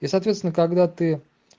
и соответственно когда ты